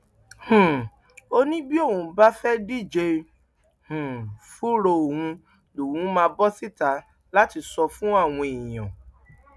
um ó ní bí òun bá fẹẹ díje um fúnra òun lòún máa bọ síta láti sọ fún àwọn èèyàn